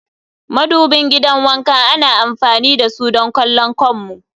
madubin gidan wanka ana amfani da su don kallon kanmu